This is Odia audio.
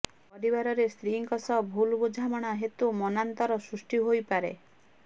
ପରିବାରରେ ସ୍ତ୍ରୀଙ୍କ ସହ ଭୁଲ୍ ବୁଝାମଣା ହେତୁ ମନାନ୍ତର ସୃଷ୍ଟି ହୋଇପାରେ